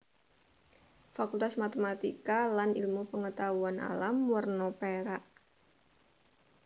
Fakultas Matematika lan Ilmu Pengetahuan Alam werna perak